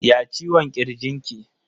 Ya ciwon kirji ki?